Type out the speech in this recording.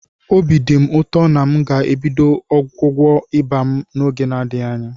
Obi dị m ụtọ na m ga-ebido ọgwụgwọ ịba m n'oge n'adịghị anya.